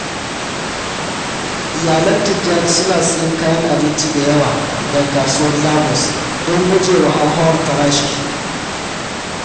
Iyalan Tijjani suna siyan abinci da yawa daga Kasuwar Lagos don gujewa hauhawar farashi.